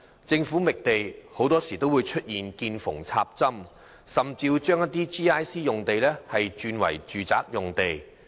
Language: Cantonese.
政府覓地，很多時候要"見縫插針"，甚至將 GIC 用地轉為住宅用地。